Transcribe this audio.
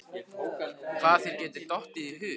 Hvað þér getur dottið í hug.